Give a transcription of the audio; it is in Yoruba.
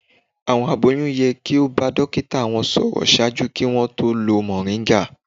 Àwọn aboyún yẹ ki o ba dokita wọn sọrọ ṣaaju ki wọn tó lo moringa